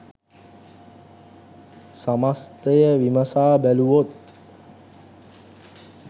සමස්තය විමසා බැලුවොත්